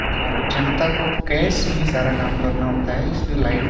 और जनता को कैश में ही सारा काम करना होता है इसलिए लाइन --